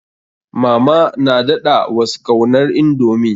Mama na daɗa was kaunar indomie.